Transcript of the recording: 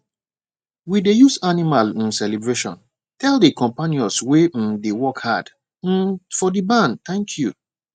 we dey use animal um celebration tell the companions wey um dey work hard um for the barn thank you